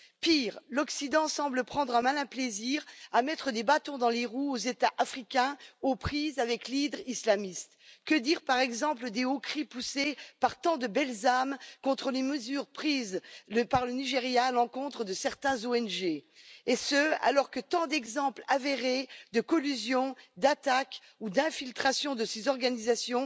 Pire, l'Occident semble prendre un malin plaisir à mettre des bâtons dans les roues aux États africains aux prises avec l'hydre islamiste. Que dire, par exemple, des hauts cris poussés par tant de belles âmes contre les mesures prises par le Nigeria à l'encontre de certaines ONG, et ce alors que tant d'exemples avérés de collusion, d'attaques ou d'infiltration de ces organisations